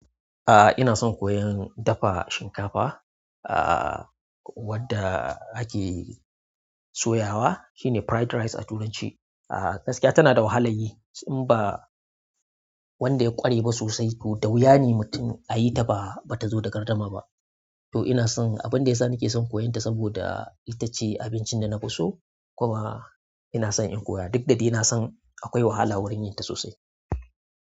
A'a ina son koyan dafa shinkafa. Ah wadda ake soyawa shine fried rice a turanci. Ah gaskiya tana da wahala yi in ba wanda ya ƙware ba sosai to da wuya ne mutum a yi ta ba bata zo da gardama ba. To ina son, abinda yasa nake son koyon ta saboda ita ce abincin da na fi so, kuma ina son in koya duk da dai nason akwai wahala wurin yin ta sosai.